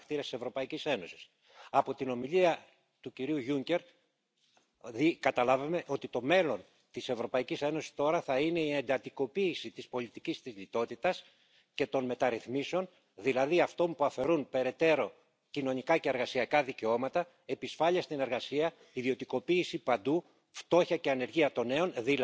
Madame la Présidente, Monsieur Juncker, l'Europe, même si c'est important, mérite mieux qu'un changement d'heure. L'évasion fiscale, CETA, Selmayr, glyphosate, voilà ce qui restera de votre présidence conservatrice et libérale. C'est une Europe qui voit progresser les populistes de toutes sortes, impuissante face au reste du monde, que vous nous laissez.